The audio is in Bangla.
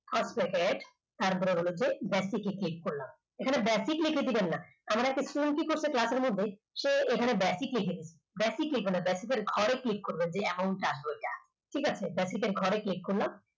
first letter তারপরে হচ্ছে গিয়ে basic এ click করলাম এখানে basic লিখে দেবেন না আমার একটি student কি করেছে class র মধ্যে সে এখানে basic লিখে দিয়েছে basic লিখবেন না basic র ঘরে click করবেন যে amount টা আসবে ওই amount টা ঠিক আছে basic র ঘরে click করলাম